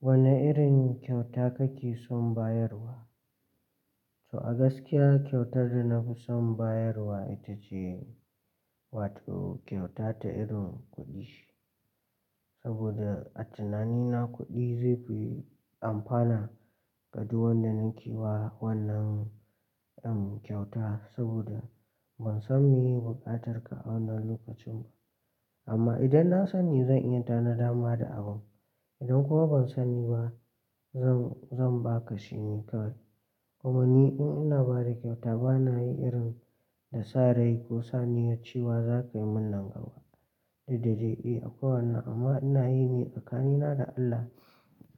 Wane irin kyauta kake son bayarwa? To, a gaskiya kyautar da na fi son bayarwa ita ce, wato kyauta ta irin kuɗi. Saboda a tunanina kuɗi zai fi amfana ga duk wanda nake wa wannan kyauta. Saboda ban san meye buƙatar ka wannan lokacin ba, amma idan na sani zan iya tanada ma da abun. Idan kuma ban sani ba zan, zan ba ka shi ne kawai. Kuma ni in ina ba da kyauta ba na yi irin da sarai ko saniyar cewa za ka yi min nan gaba. Dukda dai eh, akwai wannan amma ina yi ne tsakanina da Allah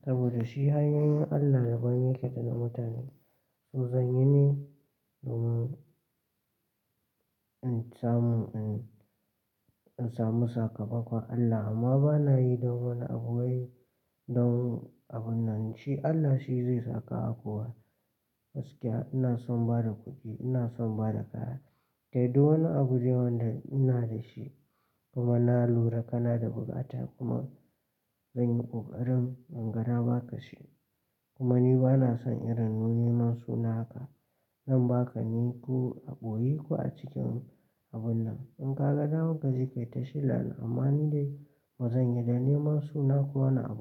saboda shi hanyoyin Allah daban yake da na mutane. To zan yi ne domin in samu, in samu sakamakon Allah amma ba na yi don wani abu wai, don abun nan. Shi Allah shi zai sakawa kowa. Gaskiya ina son ba da kuɗi, ina son ba da kaya. Kai duk wani abu da wanda ina da shi. Kuma na lura kana da bukata kuma zan yi ƙoƙarin inga ba ka shi. Kuma ni ba na son irin neman suna haka. Zan ba ka ne ko a ɓoye ko a cikin abun nan. In ka ga dama ka je ka yi ta shela na. Amma ni dai bazan yi dan neman suna ko wani abu.